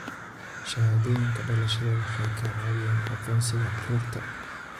Shahaadooyinka dhalashada waxay ka caawiyaan aqoonsiga carruurta.